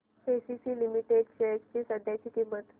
ACC limited shares ची सध्याची किंमत